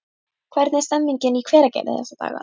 Hvernig er stemningin í Hveragerði þessa dagana?